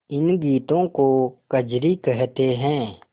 इन गीतों को कजरी कहते हैं